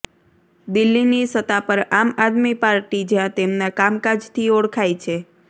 દિલ્લીની સતા પર આમ આદમી પાર્ટી જ્યાં તેમના કામકાજથી ઓળખાય છે